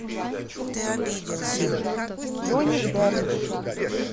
джонни депп